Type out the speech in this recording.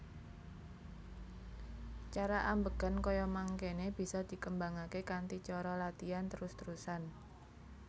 Cara ambegan kaya mangkene bisa dikembangake kanthi cara latian trus trusan